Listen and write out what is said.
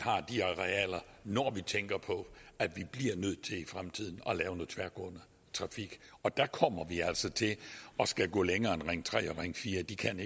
arealer når vi tænker på at vi i fremtiden og der kommer vi altså til at skulle gå længere end ring tre og ring fjerde de kan